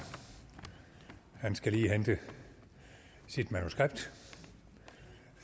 han skal lige hente sit manuskript